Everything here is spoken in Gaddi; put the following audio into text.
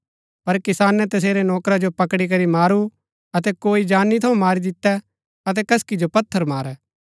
पर किसाने तसेरै नौकरा जो पकड़ी करी मारू अतै कोई जानी थऊँ मारी दितै अतै कसकि जो पत्थर मारै